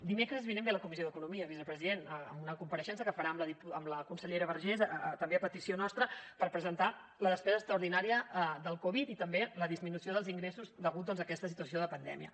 dimecres vinent ve a la comissió d’economia vicepresident a una compareixença que farà la consellera vergés també a petició nostra per presentar la despesa extraordinària del covid i també la disminució dels ingressos degut doncs a aquesta situació de pandèmia